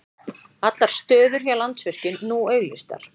Allar stöður hjá Landsvirkjun nú auglýstar